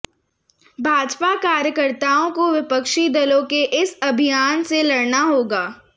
भाजपा कार्यकर्ताओं को विपक्षी दलों के इस अभियान से लड़ना होगा